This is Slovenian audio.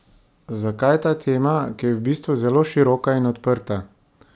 Zakaj ta tema, ki je v bistvu zelo široka in odprta?